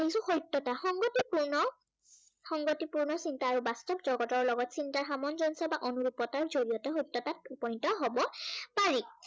কিছ সত্য়তা সংগতিপূৰ্ণ, সংগতিপূৰ্ণ চিন্তা আৰু বাস্তৱ জগতৰ লগত চিন্তাৰ সামঞ্জস্য়তা অনুৰূপতাৰ জড়িয়তে সত্য়াতত উপনীত হব পাৰি।